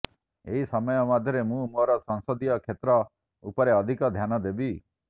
ଏହି ସମୟ ମଧ୍ୟରେ ମୁଁ ମୋର ସଂସଦୀୟ କ୍ଷେତ୍ର ଉପରେ ଅଧିକ ଧ୍ୟାନ ଦେବି